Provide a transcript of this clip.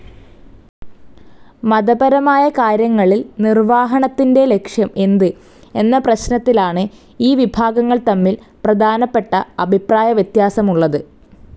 മതപരമായകാര്യങ്ങളിൽ നിർവാണത്തിന്റെ ലക്‌ഷ്യം എന്ത് എന്ന പ്രശനത്തിലാണ്, ഈ വിഭാഗങ്ങൾ തമ്മിൽ പ്രധാനപ്പെട്ട അഭിപ്രായവ്യത്യാസമുള്ളത്.